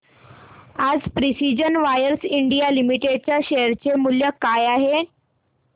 आज precision wires India limited च्या share चे मूल्य काय आहे